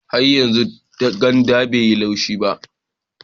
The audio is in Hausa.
Har yanzu ganda bai yi laushi ba